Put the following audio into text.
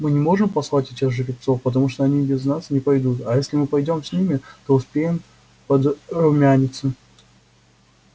мы не можем послать этих жеребцов потому что они без нас не пойдут а если мы пойдём с ними то успеем подрумяниться